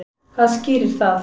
Hvað skýrir það?